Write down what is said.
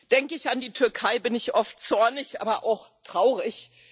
Denke ich an die Türkei, bin ich oft zornig, aber auch traurig.